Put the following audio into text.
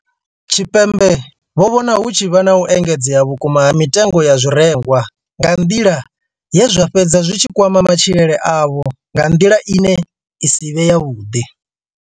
Tshipembe vho vhona hu tshi vha na u engedzea vhukuma ha mitengo ya zwirengwa nga nḓila ye zwa fhedza zwi tshi kwama matshilele avho nga nḓila ine ya si vhe yavhuḓi.